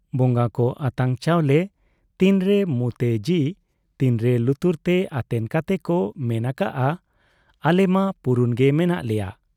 ᱵᱚᱝᱜᱟ ᱠᱚ ᱟᱛᱟᱝ ᱪᱟᱣᱞᱮ ᱛᱤᱱᱨᱮ ᱢᱩᱸᱛᱮ ᱡᱤ, ᱛᱤᱱᱨᱮ ᱞᱩᱛᱩᱨ ᱛᱮ ᱟᱛᱮᱱ ᱠᱟᱛᱮ ᱠᱚ ᱢᱮᱱ ᱟᱠᱟᱜ ᱟ , ᱟᱞᱮ ᱢᱟ ᱯᱩᱨᱩᱱ ᱜᱮ ᱢᱮᱱᱟᱜ ᱞᱮᱭᱟ ᱾